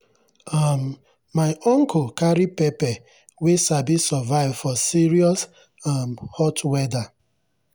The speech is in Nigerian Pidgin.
um my uncle carry pepper wey sabi survive for serious um hot weather.